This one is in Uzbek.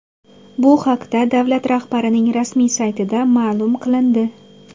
Bu haqda davlat rahbarining rasmiy saytida ma’lum qilindi .